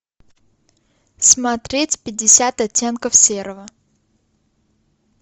смотреть пятьдесят оттенков серого